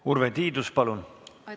Urve Tiidus, palun!